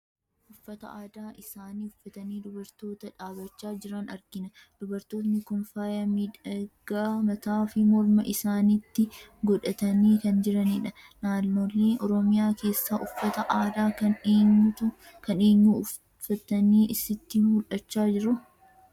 Uffata aadaa isaanii uffatanii dubartoota dhaabbachaa jiran argina. Dubartoonni kun faaya miidhaginaa mataa fi morma isaaniitti godhatanii kan jiranidha. Naannolee Oromiyaa keessaa uffata aadaa kan eenyuu ufaftanii sitti mul'achaa jiru?